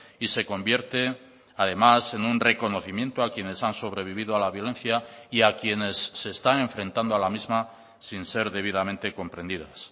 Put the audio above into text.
y se convierte además en un reconocimiento a quienes han sobrevivido a la violencia y a quienes se están enfrentando a la misma sin ser debidamente comprendidas